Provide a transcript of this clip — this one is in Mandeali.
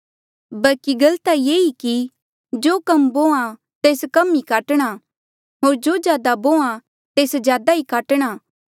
बल्की गल ता ये ई कि जो कम बोहां तेस कम ई काटणा होर जो ज्यादा बोहां तेस ज्यादा ई काटणा